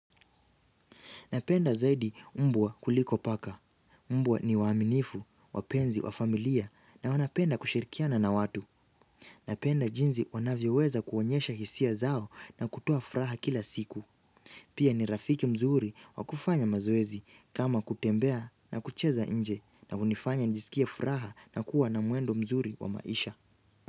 Napenda zaidi mbwa kuliko paka. Mbwa ni waaminifu, wapenzi wa familia na wanapenda kushirikiana na watu. Napenda jinzi wanavyoweza kuonyesha hisia zao na kutoa furaha kila siku. Pia ni rafiki mzuri wa kufanya mazoezi kama kutembea na kucheza nje na kunifanya nisikie furaha na kuwa na mwendo mzuri wa maisha.